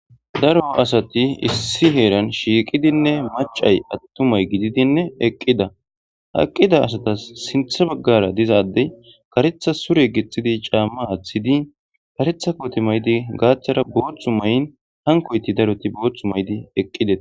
Daro asati issi heeran shiiqidinne macay attumay gididinne eqqida aqqida asatas sinthe baggara dizaaddey karetha sure gexxidi caamma aaththidi karetha koti maydi gaaththara booththu may'n hankoyti daroti booththu maydi eqqide